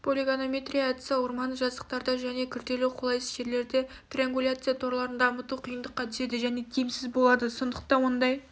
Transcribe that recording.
полигонометрия әдісі орманды жазықтарда және күрделі қолайсыз жерлерде триангуляция торларын дамыту қиындыққа түседі және тиімсіз болады сондықтан ондай